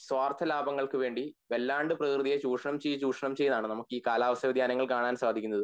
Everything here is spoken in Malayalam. സ്വാർത്ഥ ലാഭങ്ങൾക് വേണ്ടി വല്ലാണ്ട് പ്രകൃതിയെ ചുഷണം ചെയത് ചുഷണം ചെയ്താണ് നമക്ക് ഈ കാലാവസ്ഥാ വ്യധ്യാനങ്ങൾ കാണാൻ സാധിക്കുന്നത്